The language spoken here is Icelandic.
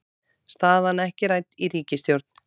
Staðan ekki rædd í ríkisstjórn